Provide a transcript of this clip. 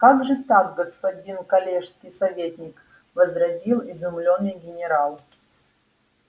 как же так господин коллежский советник возразил изумлённый генерал